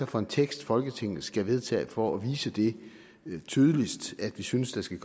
for en tekst folketinget skal vedtage for at vise det tydeligst at vi synes der skal